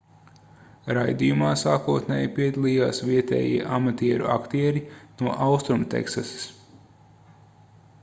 raidījumā sākotnēji piedalījās vietējie amatieru aktieri no austrumteksasas